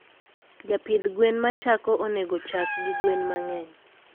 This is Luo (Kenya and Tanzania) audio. Japidh gwen machako oonego ochak gi gwen mangeny.